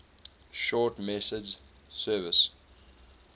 short message service